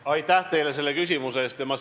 Aitäh teile selle küsimuse eest!